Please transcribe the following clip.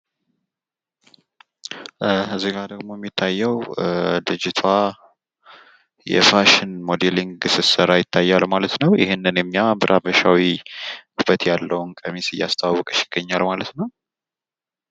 እዚህጋ ደግሞ የሚታየው ልጅቷ የፋሽን ሞደሊንግ ስሰራ ይታያል ማለት ነው። ይህንን እኛ በሀበሻዊ ውበት ያለው ቀሚስ እያስተዋወቀች ይገኛል ማለት ነው።